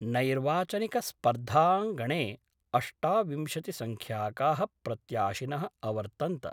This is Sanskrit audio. नैर्वाचनिकस्पर्धांगणे अष्टाविंशतिसंख्याका: प्रत्याशिनः अवर्तन्त।